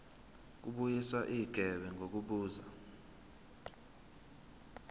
kubuyiswa igebe ngokubuza